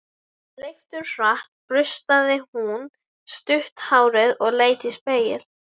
Leifturhratt burstaði hún stutt hárið og leit í spegil.